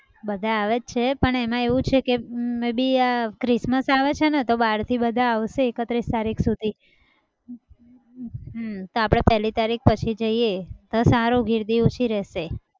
બધા આવે છે પણ એમાં એવું છે કે અમ may be આ christmas આવે છેને તો બારથી બધા આવશે એકત્રીસ તારીખ સુધી હમ તો આપણે પહેલી તારીખ પછી જઈએ તો સારું ગિરદી ઓંછી રહેશે.